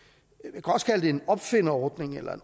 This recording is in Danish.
jeg det en opfinderordning eller